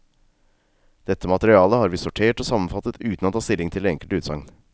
Dette materiale har vi sortert og sammenfattet uten å ta stilling til det enkelte utsagn.